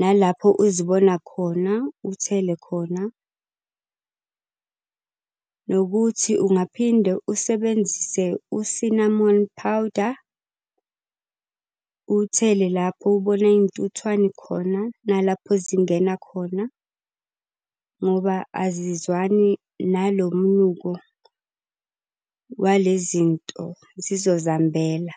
nalapho uzibona khona, uthele khona. Nokuthi ungaphinde usebenzise u-Cinnamon powder, uwuthele lapho ubona iy'ntuthwane khona, nalapho zingena khona. Ngoba azizwani nalo mnuko wale zinto, zizozihambela.